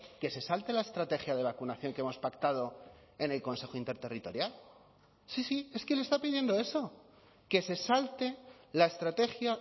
que se salte la estrategia de vacunación que hemos pactado en el consejo interterritorial sí sí es que le está pidiendo eso que se salte la estrategia